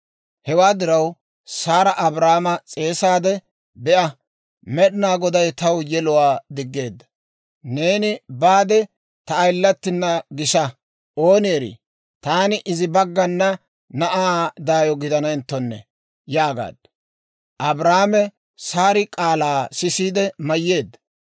Hewaa diraw Saara Abraama s'eesaade, «Be'a, Med'inaa Goday taw yeluwaa diggeedda. Neeni baade, ta ayilatina gisa; ooni erii, taani izi baggana na'aa daayo gidanenttonne» yaagaaddu. Abraame Saari k'aalaa sisiide mayyeedda.